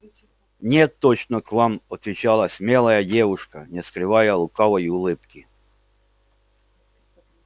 нет точно к вам отвечала смелая девушка не скрывая лукавой улыбки